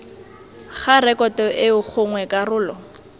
ga rekoto eo gongwe karolo